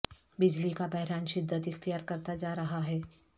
بجلی کا بحران شدت اختیار کرتا جا رہا ہے